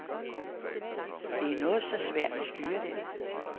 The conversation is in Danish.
Det er noget så svært at styre den.